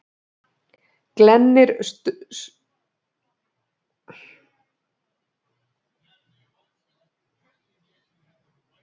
Glennir sundur á henni rasskinnarnar.